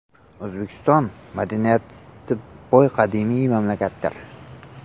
O‘zbekiston – madaniyati boy qadimiy mamlakatdir.